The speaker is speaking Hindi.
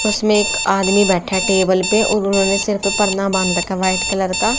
उसमें एक आदमी बैठा है टेबल पे और उन्होंने ने सिर पे पर्दा बांध रखा है व्हाईट कलर का।